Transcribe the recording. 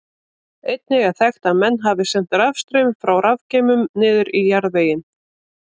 Einnig er þekkt að menn hafi sent rafstraum frá rafgeymum niður í jarðveginn.